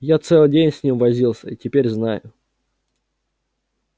я целый день с ним возился и теперь знаю